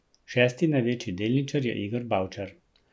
Šesti največji delničar je Igor Bavčar.